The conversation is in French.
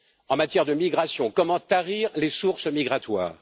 En matière de migration, comment tarir les sources migratoires?